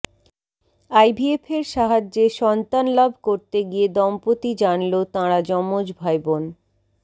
আইভিএফের সাহায্যে সন্তান লাভ করতে গিয়ে দম্পতি জানল তাঁরা যমজ ভাইবোন